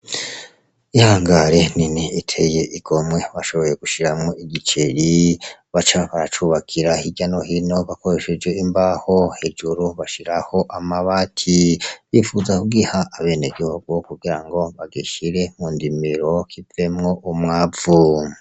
Ihangare nini iteye igomwe bashoboye gushiramwo igiceri bacariko baracubakira hirya no hino bakoreshe imbaho hejuru bashiraho amabati bifuza kugiha abenegihugu kugira ngo bagishire mu ndimiro kivemwo umwavu